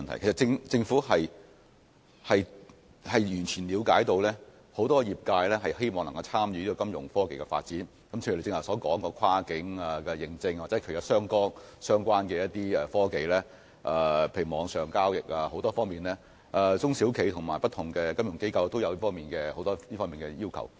其實，政府完全了解很多業界人士均希望參與金融科技的發展，例如張議員剛才提到的跨境認證，以及網上交易等相關科技，許多中小企和不同的金融機構對此均有很多訴求。